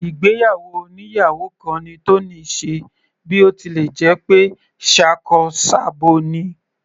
Ìgbéyàwó oníyàwò kan ni Tony ṣe bí ó tilẹ̀ jẹ́ pé ṣakọ s'abo ni.